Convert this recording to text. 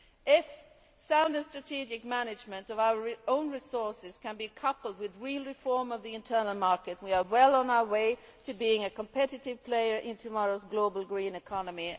If sound and strategic management of our own resources can be coupled with real reform of the internal market, we will be well on our way to being a competitive player in tomorrow's global green economy.